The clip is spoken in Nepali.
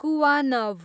कुवानव